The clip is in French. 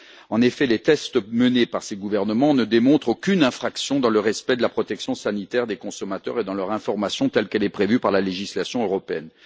En effet, les essais menés par ces gouvernements ne démontrent aucune infraction dans le respect de la protection sanitaire des consommateurs et dans leur information telle qu'elle est prévue par la législation européenne.